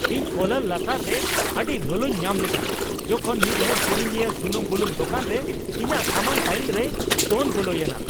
ᱤᱧ ᱠᱚᱞᱟᱨ ᱞᱟᱛᱟᱨ ᱨᱮ ᱟᱹᱰᱤ ᱞᱚᱞᱚᱧ ᱧᱟᱢ ᱞᱮᱫᱟ ᱡᱚᱠᱷᱚᱱ ᱢᱤᱫᱦᱚᱲ ᱠᱤᱨᱤᱧᱤᱭᱟᱹ ᱥᱩᱱᱩᱢᱼᱵᱩᱞᱩᱝ ᱫᱳᱠᱟᱱ ᱨᱮ ᱤᱧᱟᱹᱜ ᱥᱟᱢᱟᱝ ᱞᱟᱭᱤᱱ ᱨᱮᱭ ᱫᱚᱱ ᱵᱚᱞᱚᱭᱮᱱᱟ ᱾